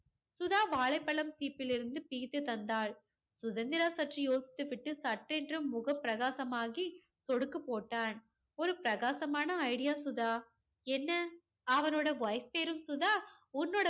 சுதா வாழைப்பழம் சீப்பில் இருந்து பிரித்து தந்தாள். சுதந்திரா சற்று யோசித்து விட்டு சட்டென்று முகம் பிரகாசமாகி சொடுக்குப் போட்டான். ஒரு பிரகாசமான idea சுதா. என்ன அவனோட wife பேரும் சுதா உன்னோட